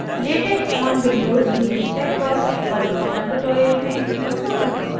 latex on windows using texworks पर spoken tutorial में आपका स्वागत है